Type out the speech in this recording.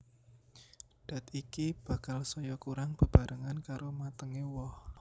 Dat iki bakal saya kurang bebarengan karo matengé woh